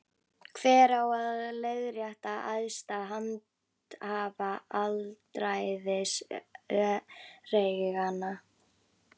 Hver á að leiðrétta æðsta handhafa alræðis öreiganna?